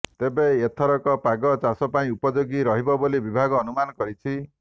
ତେବେ ଏଥରକ ପାଗ ଚାଷ ପାଇଁ ଉପଯୋଗୀ ରହିବ ବୋଲି ବିଭାଗ ଅନୁମାନ କରିଛି